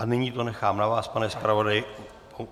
A nyní to nechám na vás, pane zpravodaji.